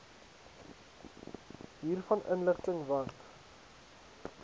hiervan inlig want